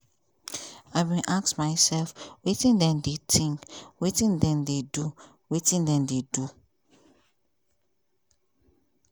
i bin ask myself wetin dem dey think wetin dem dey do wetin dem dey do?